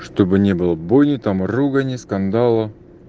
чтобы не было боли там ругани скандала